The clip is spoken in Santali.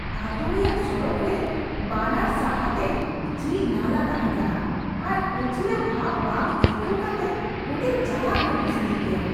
ᱟᱛᱳ ᱨᱮᱭᱟᱜ ᱥᱚᱲᱚᱠᱨᱮ ᱵᱟᱱᱟᱨ ᱥᱟᱦᱟ ᱛᱮ ᱡᱷᱤᱡ ᱱᱟᱞᱟ ᱛᱟᱦᱮᱸ ᱠᱟᱱᱟ ᱟᱨ ᱩᱪᱷᱞᱟᱹ ᱵᱷᱟᱵ ᱵᱟᱝ ᱟᱹᱭᱠᱟᱣ ᱠᱟᱛᱮᱜ ᱚᱸᱰᱮ ᱪᱟᱞᱟᱜ ᱫᱚ ᱢᱩᱥᱠᱤᱞ ᱜᱮᱭᱟ ᱾